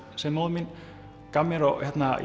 sem móðir mín gaf mér og